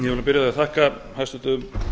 því að þakka hæstvirtum